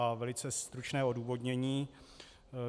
A velice stručné odůvodnění.